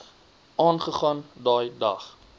aangegaan daai dag